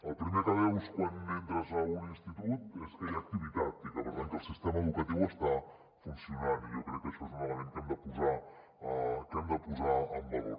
el primer que veus quan entres a un institut és que hi ha activitat i per tant que el sistema educatiu està funcionant i jo crec que això és un element que hem de posar en valor